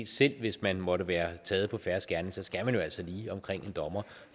selv hvis man måtte være taget på fersk gerning skal man jo altså lige omkring en dommer